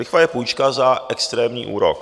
Lichva je půjčka za extrémní úrok.